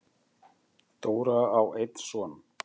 Dóra á einn son.